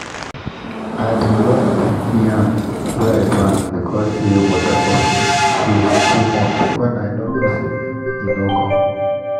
i bin loss plenti yam wey i plant beacuse say water for stream flow too much when i no know say e no come